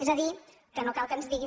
és a dir que no cal que ens diguin